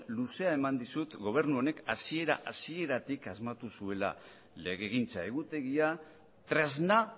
luzea eman dizut gobernu honek hasiera hasieratik asmatu zuela legegintza egutegia tresna